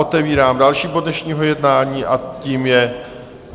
Otevírám další bod dnešního jednání a tím je